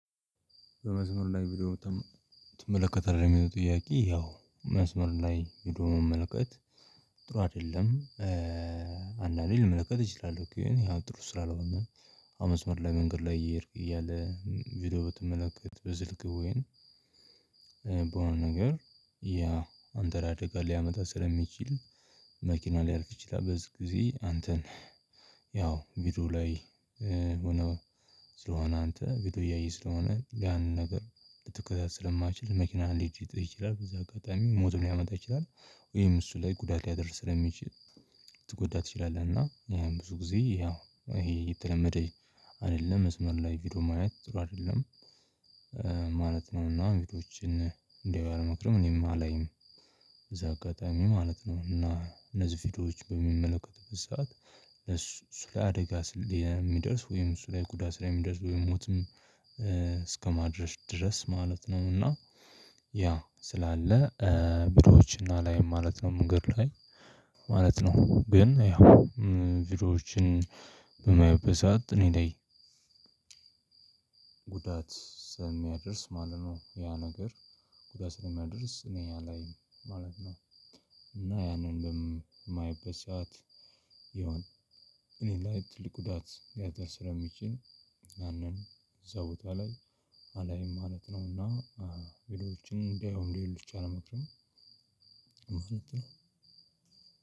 በመስመር ላይ ቪዲዮ በጣም ትመለከታለህ? የሚለው ጥያቄ ያው መስመር ላይ ቪዲዮ መመልከት ጥሩ አይደለም። አንዳንዴ ልመለከት እችላለሁ። ግን ያው ጥሩ ስላልሆነ መስመር ላይ፣ ለመንገድ ላይ እየሄድክ እያለ ቪዲዮ ብትመለከት በስልክ ወይን በሆነ ነገር ያ አንተ ላይ አደጋ ሊያመጣ ስለሚችል መኪና ሊያርፍ ይችላል በዚህ ጊዜ አንተን ያው ቪዲዮ ላይ ሆነህ ስለሆነ፣ አንተ ቪዲዮ እያየህ ስለሆነ ያንን ነገር ልትከታተል ስለማይችል መኪናህን ልገጭህ ይችላል፣ በዛ አጋጣሚ ሞቱን ሊያመጣ ይችላል። ወይም እሱ ላይ ጉዳት ሊያደርስ ስለሚችል፣ ትጎዳ ትችላለህ እና ይሄም ብዙ ጊዜ ያው ይሄ የተለመደኝ አይደለም። መስመር ላይ ቪዲዮ ማየት ጥሩ አይደለም። ማለት ነው እና ቪዲዮዎችን እንዲያው አልመክርም፣ እኔም አላይም። እዛ አጋጣሚ ማለት ነው፣ እና እነዚህ ቪዲዮዎች በሚመለከት በሰአት እሱ ለአደጋ የሚደርስ ወይም እሱ ላይ ጉዳት ላይ የሚደርስ ወይ ሞትም እስከማድረስ ድረስ ማለት ነው። እና ያ ስላለ ቪዲዎች አላይም ማለት ነው ምንገር ላይ። ማለት ነው። ግን ያው ቪዲዮዎችን በማይበት ሰዓት እኔ ለይ ላይ ጉዳት ስለሚያደርስ ማለት ነው። ያ ነገር ጉዳት ስለሚያደርስ እኔ ያ ላይ ማለት ነው። እና ያንን በማይበት ሰዓት ይሆን እኔ ላይ ትልቅ ጉዳት ሊያደርስ ስለሚችል ያንን እዛ ቦታ ላይ አላይም ማለት ነው። እና ቪዲዎች እንዲያዩ ሌሎችም አልመክርም።